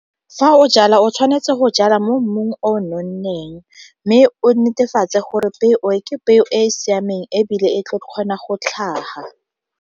Fa o jala o tshwanetse go jala mo mmung o nonneng, mme o netefatse gore peo ke peo e e siameng ebile e tla kgona go tlhaga.